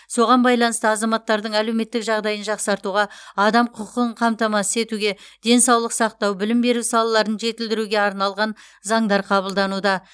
соған байланысты азаматтардың әлеуметтік жағдайын жақсартуға адам құқығын қамтамасыз етуге денсаулық сақтау білім беру салаларын жетілдіруге арналған заңдар қабылдануда